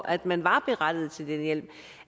at man var berettiget til den hjælp